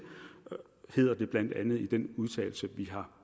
hedder det blandt andet i den udtalelse vi har